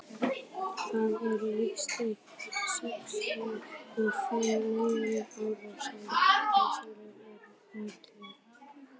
það eru víst um sextíu og fimm milljónir ára síðan risaeðlurnar urðu útdauðar